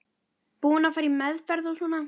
Búin að fara í meðferð og svona.